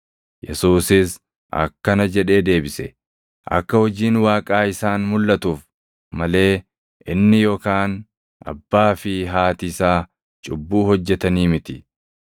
Yesuusis akkana jedhee deebise; “Akka hojiin Waaqaa isaan mulʼatuuf malee inni yookaan abbaa fi haati isaa cubbuu hojjetanii miti.